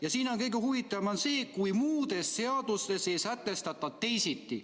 Ja siin on kõige huvitavam see "kuivõrd muudes seadustes ei sätestata teisiti".